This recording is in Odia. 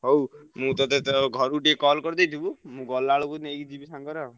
ହଉ ମୁଁ ତତେ ତ ଘରୁକୁ ଟିକେ call କରିଦେଇଥିବୁ ମୁଁ ଗଲାବେଳକୁ ନେଇକି ଯିବି ସାଙ୍ଗରେ ଆଉ।